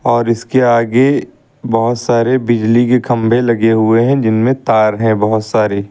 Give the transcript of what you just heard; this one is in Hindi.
और इसके आगे बहोत सारे बिजली के खंभे लगे हुए है जिनमें तार है बहोत सारे।